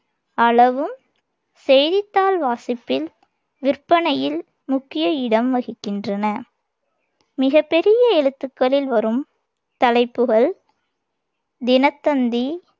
அளவும் செய்தித்தாள் வாசிப்பில், விற்பனையில் முக்கிய இடம் வகிக்கின்றன மிகப் பெரிய எழுத்துக்களில் வரும் தலைப்புகள் தினத்தந்தி,